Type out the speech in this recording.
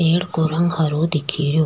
एक को रंग हरो दिख रो।